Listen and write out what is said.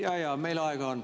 Jaa-jaa, meil aega on.